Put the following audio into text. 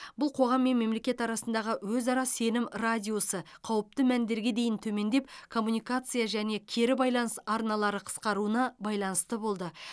бұл қоғам мен мемлекет арасындағы өзара сенім радиусы қауіпті мәндерге дейін төмендеп коммуникация және кері байланыс арналары қысқаруына байланысты болды